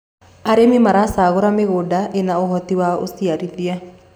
arĩmi maracagura mĩgũnda ina uhoti wa uciarithia